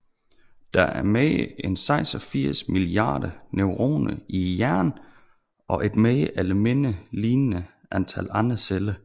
Der er mere end 86 milliarder neuroner i hjernen og et mere eller mindre lignende antal andre celler